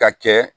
Ka kɛ